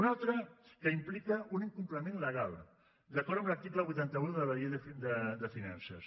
un altre que implica un incompliment legal d’acord amb l’article vuitanta un de la llei de finances